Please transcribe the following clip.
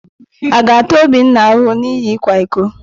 A ga-ata Obinna ahụhụ n’ihi ịkwa iko?